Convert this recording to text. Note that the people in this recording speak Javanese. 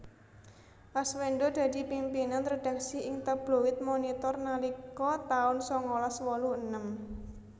Aswendo dadi pimpinan redaksi ing Tabloid Monitor nalika taun sangalas wolu enem